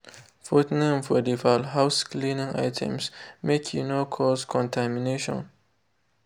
put name for de fowl house cleaning items make e no cause contamination.